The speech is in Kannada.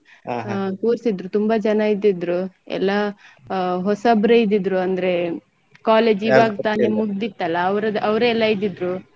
ಕೂರ್ಸಿದ್ರು ತುಂಬ ಜನ ಇದ್ದಿದ್ರು ಎಲ್ಲ ಹೊಸಬ್ರೆ ಇದ್ದಿದ್ರು ಅಂದ್ರೆ college ಇವಾಗ ತಾನೇ ಮುಗ್ದಿತಲ್ಲ ಅವ್ರದ್ ಅವ್ರೆ ಎಲ್ಲ ಇದ್ದಿದ್ರು.